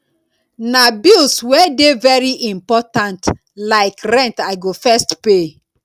na bills wey dey very important like rent i go first pay